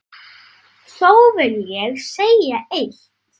Þó vil ég segja eitt.